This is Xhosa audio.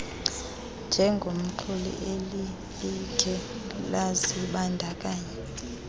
njengomxumi alilikhe lazibandakanya